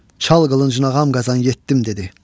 "Çal qılıncını ağam Qazan, yetdim!" dedi.